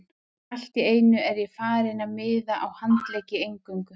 Allt í einu er ég farinn að miða á handleggi eingöngu.